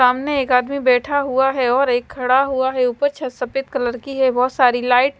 सामने एक आदमी बैठा हुआ है और एक खड़ा हुआ है ऊपर छत सफेद कलर की है बहुत सारी लाइट --